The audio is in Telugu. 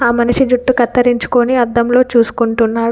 మనిషి జుట్టు కత్తిరించుకొని అద్దంలో చూసుకుంటున్నాడు.